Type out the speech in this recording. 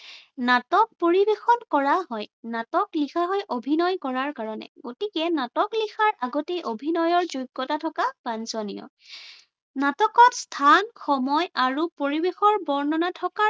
নাটক পৰিবেশন কৰা হয়। নাটক লিখা হয় অভিনয় কৰাৰ কাৰণে, গতিকে নাটক লিখাৰ আগতে অভিনয়ৰ যোগ্য়তা থকা বাঞ্চনীয়। নাটকত স্থান, সময় আৰু পৰিবেশৰ বৰ্ণনা থকাৰ